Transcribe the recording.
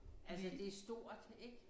Altså det er stort ik